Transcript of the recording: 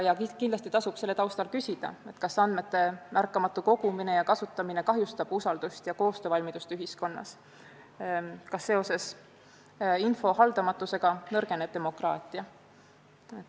Kindlasti tasub selle taustal küsida, kas andmete märkamatu kogumine ja kasutamine kahjustab usaldust ja koostöövalmidust ühiskonnas, kas seoses info haldamatusega nõrgeneb demokraatia.